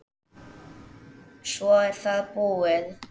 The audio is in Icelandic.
Svo er það búið.